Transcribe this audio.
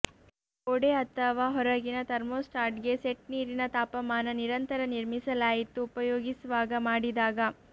ಗೋಡೆ ಅಥವಾ ಹೊರಗಿನ ಥರ್ಮೋಸ್ಟಾಟ್ಗೆ ಸೆಟ್ ನೀರಿನ ತಾಪಮಾನ ನಿರಂತರ ನಿರ್ಮಿಸಲಾಯಿತು ಉಪಯೋಗಿಸುವಾಗ ಮಾಡಿದಾಗ